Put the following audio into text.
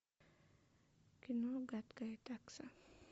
кино гадкая такса